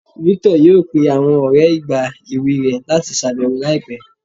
Victor yọọ pẹ̀ awọn ọrẹ̀ igba ẹwẹ̀ rẹ̀ lati ṣabẹwo laipẹ̀